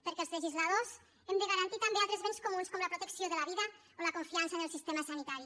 perquè els legisladors hem de garantir també altres béns comuns com la protecció de la vida o la confiança en el sistema sanitari